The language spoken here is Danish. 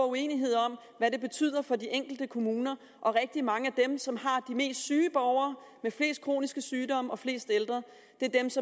uenighed om hvad det betyder for de enkelte kommuner rigtig mange af dem som har de mest syge borgere med flest kroniske sygdomme og flest ældre